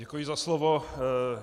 Děkuji za slovo.